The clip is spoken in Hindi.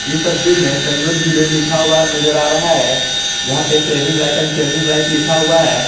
इस तस्वीर में संयोज विलेज लिखा हुआ नजर आ रहा है जहां पे saving life and changing life लिखा हुआ है।